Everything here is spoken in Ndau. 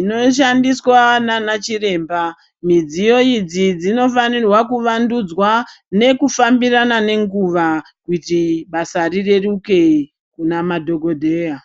inoshandiswa naanachiremba midziyo idzi dzinofanirwa kuvandudzwa nekufambirana nenguva kuti basa rireruke kune madhokodheya.